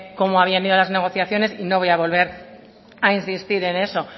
cómo habían ido las negociaciones y no voy a volver a insistir en eso